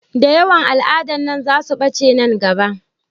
Da yawan al'adan nan za su ɓace nan gaba